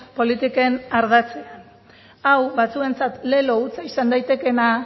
politiken ardatzean hau batzuentzat lelo hutsa izan daitekeena